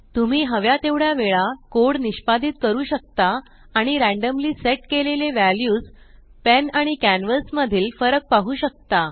तुम्ही हव्या तेवढ्या वेळा कोड निष्पादीत करू शकता आणि रॅंडम्ली सेट केलेले वॅल्यूस पेन आणि कॅनव्हास मधील फरक पाहु शकता